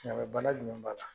mɛ bana jumɛn b'a la?